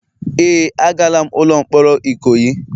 Ee, agala'm ụlọ mkpọrọ Ikoyi.